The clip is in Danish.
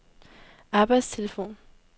arbejdstelefon